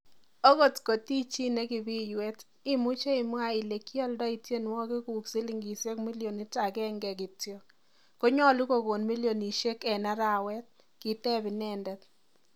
"Okot kot i chi nekibiywet, imuche imwa ile kialdoi tienwogikuk silingisiek milionit agenge kityok, konyolu kokon milionisiek en arawet?"Kiteb inendet.